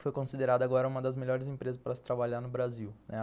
Foi considerada agora uma das melhores empresas para se trabalhar no Brasil.